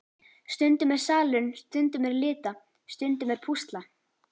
Stundum er salurinn, stundum er lita, stundum er púsla.